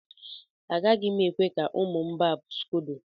Agaghị m ekwe ka ụmụ m barb scodo.